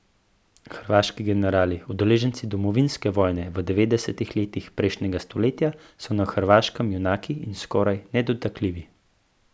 Hrvaški generali, udeleženci domovinske vojne v devetdesetih letih prejšnjega stoletja, so na Hrvaškem junaki in skoraj nedotakljivi.